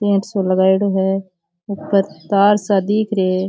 पेड़ सो लगायडॉ है ऊपर तार सा दिख रे है।